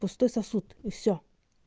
пустой сосуд и все